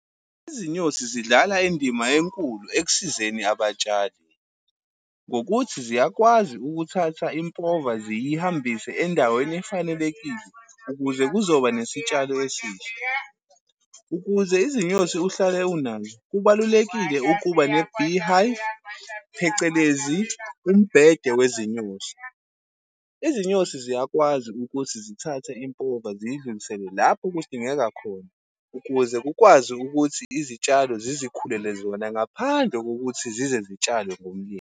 Izinyosi zidlala indima enkulu ekusizeni abatshali, ngokuthi ziyakwazi ukuthatha impova ziyihambise endaweni efanelekile, ukuze kuzoba nesitshalo esihle. Ukuze izinyosi uhlale unazo, kubalulekile ukuba ne-beehive, phecelezi umbhede wezinyosi. Izinyosi ziyakwazi ukuthi zithathe impova ziyidlulisele lapho kudingeka khona, ukuze kukwazi ukuthi izitshalo zizikhulele zona, ngaphandle kokuthi zize zitshalwe ngumlimi.